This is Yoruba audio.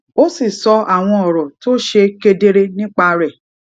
ó sì sọ àwọn òrò tó ṣe kedere nípa rè